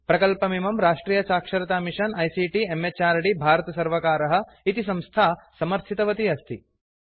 प्रकल्पमिमं राष्ट्रियसाक्षरतामिषन आईसीटी म्हृद् भारतसर्वकारः इति संस्था समर्थितवती अस्ति